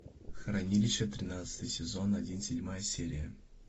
хранилище тринадцатый сезон один седьмая серия